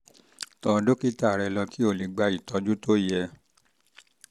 tọ dókítà rẹ lọ kó o lè gba ìtọ́jú tó yẹ